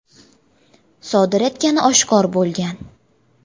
sodir etgani oshkor bo‘lgan.